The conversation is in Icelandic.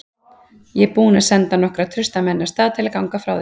Ég er búinn að senda nokkra trausta menn af stað til að ganga frá þér.